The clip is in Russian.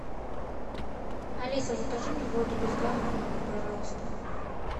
алиса закажи мне воду без газа в номер пожалуйста